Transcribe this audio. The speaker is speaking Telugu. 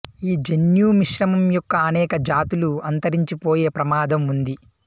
ఈ జన్యు మిశ్రమం యొక్క అనేక జాతులు అంతరించిపోయే ప్రమాదం ఉంది